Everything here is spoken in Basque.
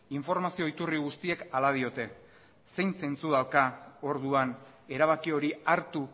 informazio iturri guztiek hala diote zein zentzu dauka orduan erabaki hori hartu